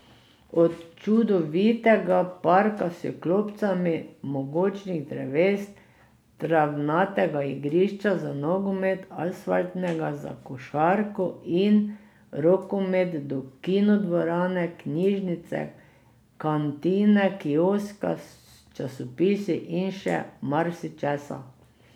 Od čudovitega parka s klopcami, mogočnih dreves, travnatega igrišča za nogomet, asfaltnega za košarko in rokomet do kino dvorane, knjižnice, kantine, kioska s časopisi in še marsičesa.